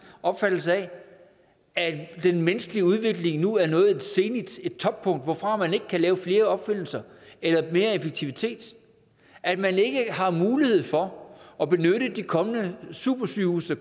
opfattelse af at den menneskelige udvikling nu er nået et zenit et toppunkt hvorfra man ikke kan lave flere opfindelser eller mere effektivitet og at man ikke har mulighed for at benytte de kommende supersygehuse